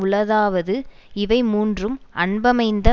உளதாவது இவை மூன்றும் அன்பமைந்த